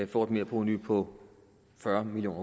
får et merprovenu på fyrre million